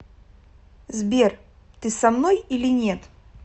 сбер ты со мной или нет